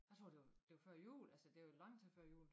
Jeg tror det var det var før jul altså det var lang tid før jul